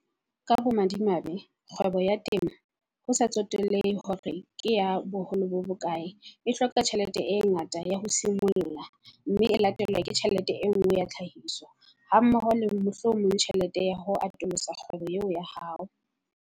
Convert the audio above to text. Ka bomadimabe, kgwebo ya temo, ho sa tsotellehe hore ke ya boholo bo bokae, e hloka tjhelete e ngata ya ho simolla, mme e latelwe ke tjhelete e nngwe ya tlhahiso hammoho le mohlomong tjhelete ya ho atolosa kgwebo eo ya hao.